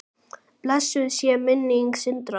Blessuð sé minning Sindra.